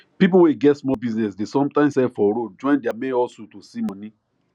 people wey get small business dey sometimes sell for road join their main hustle to see money